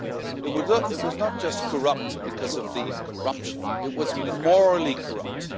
It was not just corrupt because of the corruption, it was morally corrupt.